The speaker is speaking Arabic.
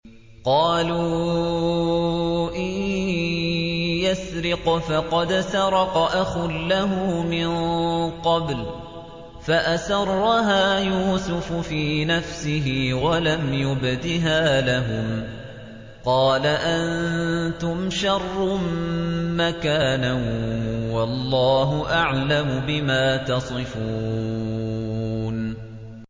۞ قَالُوا إِن يَسْرِقْ فَقَدْ سَرَقَ أَخٌ لَّهُ مِن قَبْلُ ۚ فَأَسَرَّهَا يُوسُفُ فِي نَفْسِهِ وَلَمْ يُبْدِهَا لَهُمْ ۚ قَالَ أَنتُمْ شَرٌّ مَّكَانًا ۖ وَاللَّهُ أَعْلَمُ بِمَا تَصِفُونَ